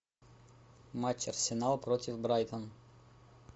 матч арсенал против брайтон